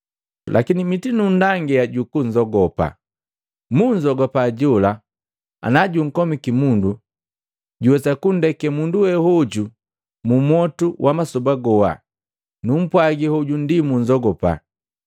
Lakini mitinundangia jukunzogopa. Munzogupa jola ana junkomiki mundu, juwesa kundeke mundu wehoju mu mwotu wa masoba goha. Numpwagi, hoju ndi munnzogupa.